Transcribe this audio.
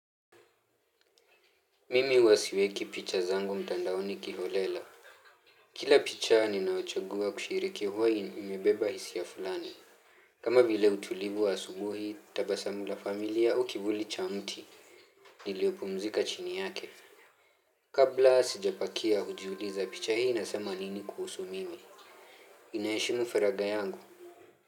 Mimi huwa siweki picha zangu mtandaoni kiolela. Kila picha ninaochagua kushiriki huwa umebeba hisia fulani. Kama vile utulivu wa asubuhi, tabasamu la familia au kivuli cha mti iliyopumzika chini yake kabla sijapakia hujiuliza picha hii inasema nini kuhusu mimi. Inaheshimu faragha yangu?